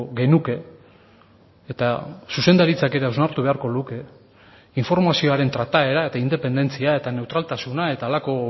genuke eta zuzendaritzak ere hausnartu beharko luke informazioaren trataera eta independentzia eta neutraltasuna eta halako